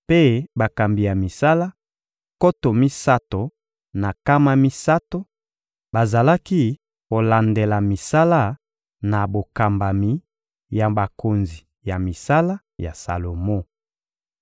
mpe bakambi ya misala, nkoto misato na nkama misato, bazalaki kolandela misala na bokambami ya bakonzi ya misala ya Salomo.